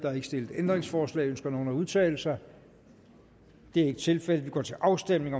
er ikke stillet ændringsforslag ønsker nogen at udtale sig det er ikke tilfældet vi går til afstemning